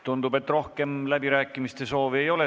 Tundub, et rohkem kõnesoove ei ole.